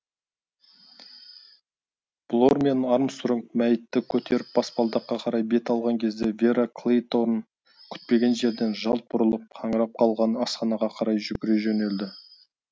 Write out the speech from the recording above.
блор мен армстронг мәйітті көтеріп баспалдаққа қарай бет алған кезде вера клейторн күтпеген жерден жалт бұрылып қаңырап қалған асханаға қарай жүгіре жөнелді